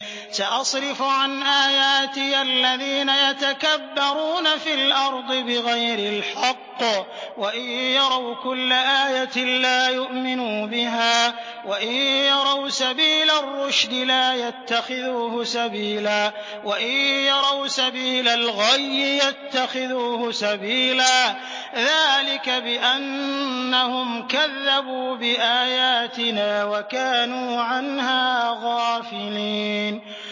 سَأَصْرِفُ عَنْ آيَاتِيَ الَّذِينَ يَتَكَبَّرُونَ فِي الْأَرْضِ بِغَيْرِ الْحَقِّ وَإِن يَرَوْا كُلَّ آيَةٍ لَّا يُؤْمِنُوا بِهَا وَإِن يَرَوْا سَبِيلَ الرُّشْدِ لَا يَتَّخِذُوهُ سَبِيلًا وَإِن يَرَوْا سَبِيلَ الْغَيِّ يَتَّخِذُوهُ سَبِيلًا ۚ ذَٰلِكَ بِأَنَّهُمْ كَذَّبُوا بِآيَاتِنَا وَكَانُوا عَنْهَا غَافِلِينَ